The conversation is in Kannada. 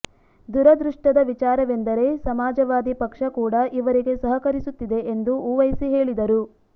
ದುರದೃಷ್ಟದ ವಿಚಾರವೆಂದರೆ ಸಮಾಜವಾದಿ ಪಕ್ಷ ಕೂಡಾ ಇವರಿಗೆ ಸಹಕರಿಸುತ್ತಿದೆ ಎಂದು ಉವೈಸಿ ಹೇಳಿದರು